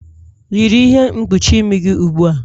Yiri ihe mkpuchi imi gị ugbua!